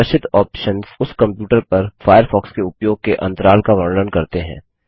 प्रदर्शित ऑप्शन्स उस कंप्यूटर पर फायरफॉक्स के उपयोग के अंतराल का वर्णन करते हैं